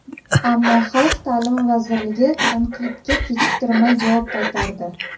Ammo Xalq ta’limi vazirligi tanqidga kechiktirmay javob qaytardi .